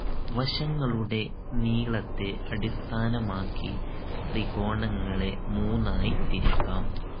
വശങ്ങളുടെ നീളത്തെ അടിസ്ഥാനമാക്കി ത്രികോണങ്ങളെ മൂന്നായി തിരിക്കാം